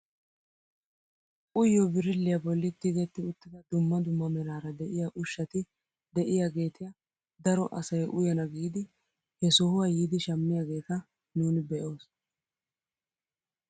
Uyiyoo birilliyaa bolli tigetti uttida dumma dumma meraara de'iyaa uushshati de'iyaagetia daro asay uyana giidi he sohuwaa yiidi shammiyaageta nuni be'oos.